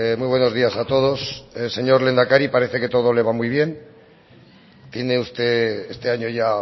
muy buenos días a todos señor lehendakari parece que todo le va muy bien tiene usted este año ya